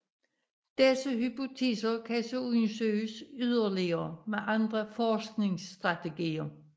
Disse hypoteser kan så undersøges yderligere med andre forskningsstrategier